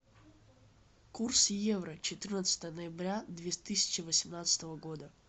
курс евро четырнадцатое ноября две тысячи восемнадцатого года